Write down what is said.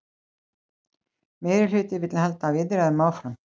Meirihluti vill halda viðræðum áfram